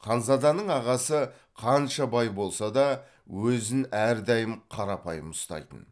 ханзаданың ағасы қанша бай болса да өзін әрдайым қарапайым ұстайтын